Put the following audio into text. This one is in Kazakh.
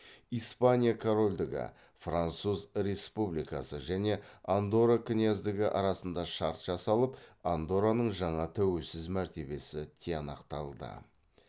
испания корольдігі француз республикасы және андорра княздігі арасында шарт жасалып андорраның жаңа тәуелсіз мәртебесі тиянақталды